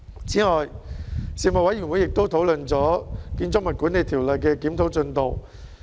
此外，事務委員會亦討論了《建築物管理條例》的檢討進度。